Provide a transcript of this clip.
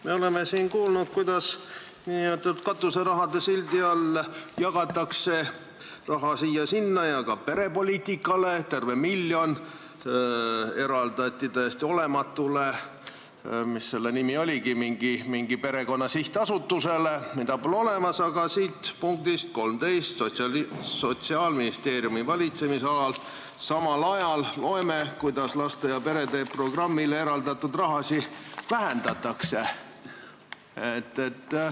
Me oleme kuulnud, kuidas nn katuseraha sildi all jagatakse raha siia-sinna ja ka perepoliitikale – terve miljon eraldati mingile perekonna sihtasutusele, mida pole olemas –, aga samal ajal siit punktist 13, Sotsiaalministeeriumi valitsemisala, loeme, kuidas laste ja perede programmile eraldatud raha vähendatakse.